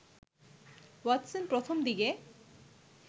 Watson প্রথম দিকে